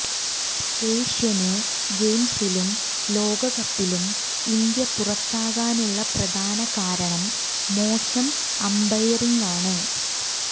Asian ഗെയിംസിലും ലോകകപ്പിലും India പുറത്താകാനുള്ള പ്രധാന കാരണം മോശം അമ്പയറിങ്ങാണ്